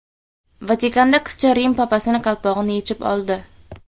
Vatikanda qizcha Rim papasining qalpog‘ini yechib oldi .